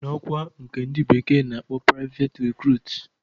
..n'ọkwa nke ndi bekee na-akpọ praiveti rikruut